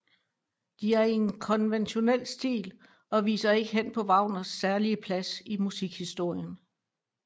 De er i en konventionel stil og viser ikke hen på Wagners særlige plads i musikhistorien